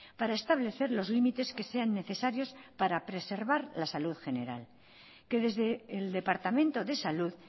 para establecer los límites que sean necesarios para preservar la salud general que desde el departamento de salud